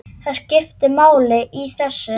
Það skiptir máli í þessu.